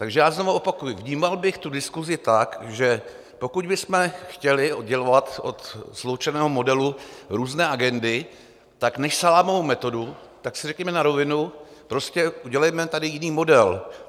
Takže já znova opakuji - vnímal bych tu diskusi tak, že pokud bychom chtěli oddělovat od sloučeného modelu různé agendy, tak než salámovou metodu, tak si řekněme na rovinu, prostě udělejme tady jiný model.